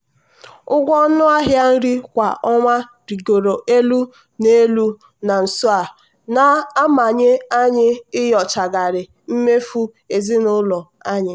ụgwọ ọnụ ahịa nri kwa ọnwa rịgoro elu na elu na nso a na-amanye anyị inyochagharị mmefu ego ezinụlọ anyị.